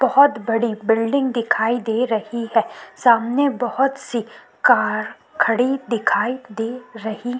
बहुत बड़ी बिल्डिंग दिखाई दे रही है सामने बहुत सी कार खड़ी दिखाई दे रही --